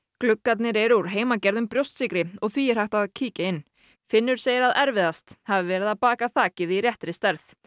gluggarnir eru úr heimagerðum brjóstsykri og því er hægt að kíkja inn í finnur segir að erfiðast hafi verið að baka þakið í réttri stærð